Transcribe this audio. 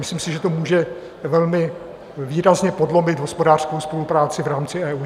Myslím si, že to může velmi výrazně podlomit hospodářskou spolupráci v rámci EU.